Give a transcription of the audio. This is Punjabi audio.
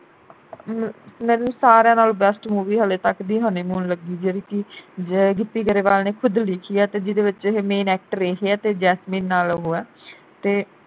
ਮੈਨੂੰ ਸਾਰਿਆ ਨਾਲ best movie ਹਾਲੇ ਤੱਕ ਦੀ honeymoon ਲੱਗੀ ਜਿਹੜੀ ਕਿ ਗਿੱਪੀ ਗਰੇਵਾਲ ਨੇ ਖੁਦ ਲਿਖੀ ਐ ਤੇ ਜਿਹੜੇ ਵਿਚ ਇਹੀ main actor ਇਹੀ ਐ ਤੇ ਜੈਸਮੀਨ ਨਾਲ ਉਹ ਐ ਤੇ